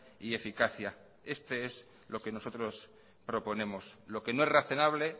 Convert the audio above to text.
y eficacia esto es lo que nosotros proponemos lo que no es razonable